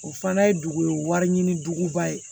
O fana ye dugu wari ɲini duguba ye